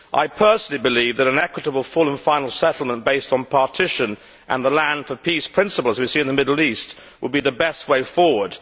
I personally believe that an equitable full and final settlement based on partition and the land for peace' principles we see in the Middle East would be the best way forward.